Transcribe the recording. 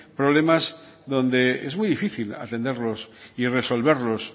problemas donde es muy difícil atenderlos y resolverlos